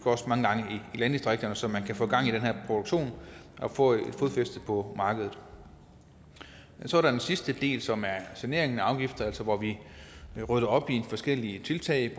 i landdistrikterne så man kan få gang i den her produktion og få et fodfæste på markedet så er der den sidste del som er saneringen af afgifter altså hvor vi rydder op i forskellige tiltag